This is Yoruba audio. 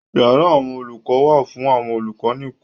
Yàrá àwọn olùkọ wà fún àwọn olùkọ nìkan.